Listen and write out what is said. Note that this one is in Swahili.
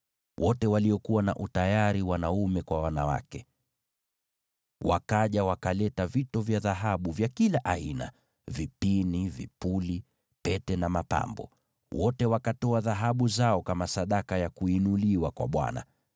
Wote waliokuwa na utayari, wanaume kwa wanawake, wakaja wakaleta vito vya dhahabu vya kila aina: vipini, vipuli, pete na mapambo. Wote wakatoa dhahabu zao kama sadaka ya kuinuliwa kwa Bwana .